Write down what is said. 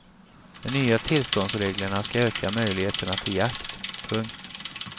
De nya tillståndsreglerna ska öka möjligheterna till jakt. punkt